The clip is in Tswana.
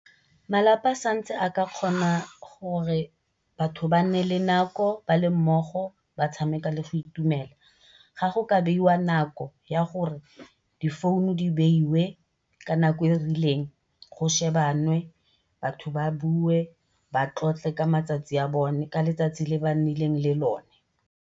Malapa a santse a ka kgona gore batho ba nne le nako ba le mmogo ba tshameka le go itumela. Ga go ka beiwa nako ya gore difounu di beiwe ka nako e e rileng go shebanwe batho ba bue ba tlotle ka letsatsi le ba nnileng le lone.